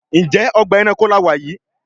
Njé Ọgbà ẹranko là wá yí?